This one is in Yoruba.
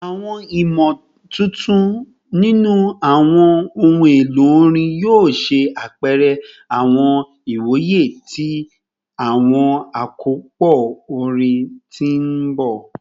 Awọn imotuntun ninu awọn ohun elo orin yoo ṣe apẹrẹ awọn iwoye ti awọn akopọ orin ti n bọ